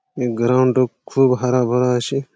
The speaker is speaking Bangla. এ গ্রাউন্ড টো খুব হারা ভারা আছে।